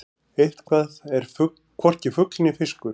Eitthvað er hvorki fugl né fiskur